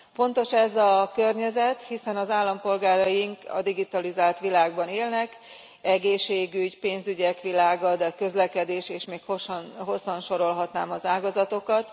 Fontos ez a környezet, hiszen az állampolgáraink a digitalizált világban élnek egészségügy, pénzügyek világa, de a közlekedés és még hosszan sorolhatnám az ágazatokat.